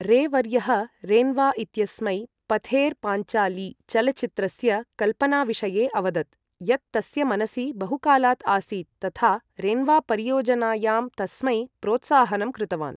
रे वर्यः रेन्वा इत्यस्मै पथेर् पाञ्चाली चलच्चित्रस्य कल्पनाविषये अवदत्, यत् तस्य मनसि बहुकालात् आसीत्, तथा रेन्वा परियोजनायां तस्मै प्रोत्साहनं कृतवान्।